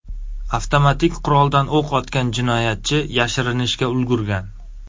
Avtomatik quroldan o‘q otgan jinoyatchi yashirinishga ulgurgan.